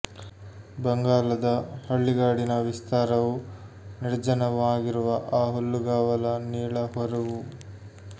ಬಂಗಾಲದ ಹಳ್ಳಿಗಾಡಿನ ವಿಸ್ತಾರವೂ ನಿರ್ಜನವೂ ಆಗಿರುವ ಆ ಹುಲ್ಲುಗಾವಲ ನೀಳ ಹರಹು